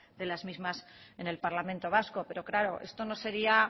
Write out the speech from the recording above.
de las mismas en el parlamento vasco pero claro esto no sería